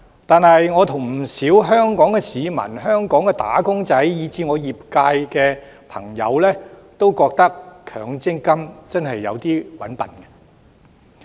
然而，我和不少香港市民、香港"打工仔"以至我的業界朋友也認為，強積金真的有點"搵笨"。